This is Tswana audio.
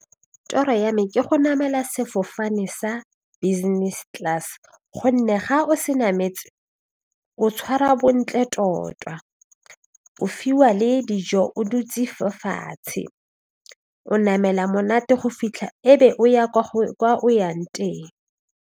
Toro ya me ke go namela sefofane sa business class gonne ga o se nametse o tshwara bontle tota o fiwa le dijo o dutse fo fatshe o namela monate go fitlha e be o ya kwa o yang teng.